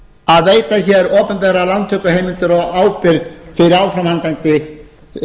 að veita hér opinberar lántökuheimildir og ábyrgð fyrir áframhaldandi